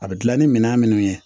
A bɛ gilan ni minan minnu ye